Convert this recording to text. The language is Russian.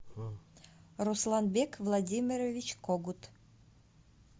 русланбек владимирович когут